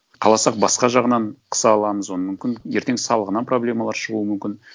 қаласақ басқа жағынан қыса аламыз оны мүмкін ертең салығынан проблемалар шығуы мүмкін